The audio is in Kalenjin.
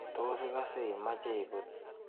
Tos ikase imeche ibut?